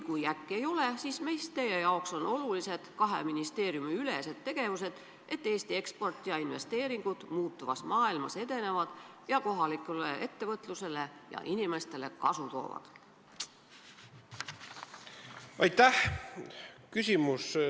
Kui äkki ei ole, siis mis teie arvates on olulised kahe ministeeriumi vahelised tegevused, et Eesti eksport ja investeeringud muutuvas maailmas edeneksid ja kohalikule ettevõtlusele ja inimestele kasu tooksid?